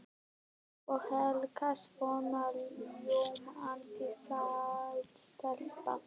Og Helga svona ljómandi sæt stelpa.